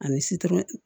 Ani situlu